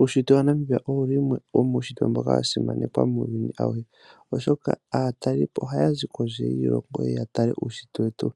Uushitwe waNamibia owo wumwe womuushitwe mboka wasimanekwa muuyuni awuhe, oshoka aatalelipo ohaya zi kondje yiilongo yeye ya tale uushitwe wetu .